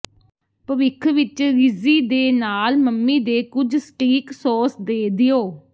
ਭਵਿੱਖ ਵਿੱਚ ਰਿਜ਼ੀ ਦੇ ਨਾਲ ਮੰਮੀ ਦੇ ਕੁਝ ਸਟੀਕ ਸੌਸ ਦੇ ਦਿਓ